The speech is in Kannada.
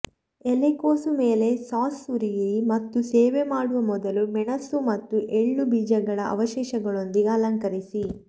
ಎಲೆಕೋಸು ಮೇಲೆ ಸಾಸ್ ಸುರಿಯಿರಿ ಮತ್ತು ಸೇವೆ ಮಾಡುವ ಮೊದಲು ಮೆಣಸು ಮತ್ತು ಎಳ್ಳು ಬೀಜಗಳ ಅವಶೇಷಗಳೊಂದಿಗೆ ಅಲಂಕರಿಸಿ